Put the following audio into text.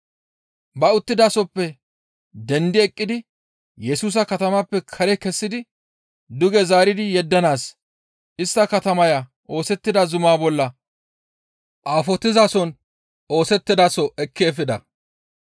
Ba uttidasohoppe dendi eqqidi Yesusa katamaappe kare kessidi duge zaari yeddanaas istta katamaya oosettida zumaa bolla aafotizason oosettidaso ekki efida.